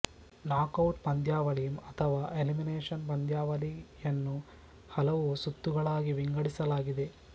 knockout ಪಂದ್ಯಾವಳಿ ಅಥವಾ elimination ಪಂದ್ಯಾವಳಿಯನ್ನು ಹಲವು ಸುತ್ತುಗಳಾಗಿ ವಿಂಗಡಿಸಲಾಗಿದೆ